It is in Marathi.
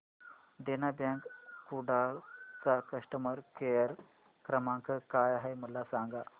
देना बँक कुडाळ चा कस्टमर केअर क्रमांक काय आहे मला सांगा